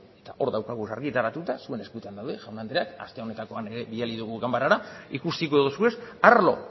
hor ditugu argitaratuta zuen eskuetan daude jaun andreak aste honetan ere bidali dugu ganbarara ikusiko dituzue arlo